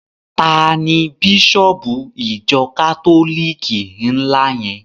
Tani Bísọ̀bù ìjọ kátólìkì ńlá yẹn?